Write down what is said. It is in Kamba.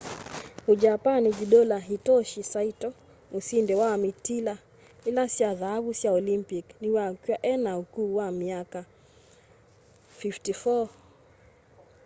mujapani judola hitoshi saito musindi wa mitila ili sya thaavu sya olimpic niwakw'a ena ukuu wa miaka 54